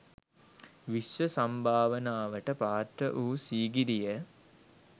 විශ්ව සම්භාවනාවට පාත්‍ර වූ සීගිරිය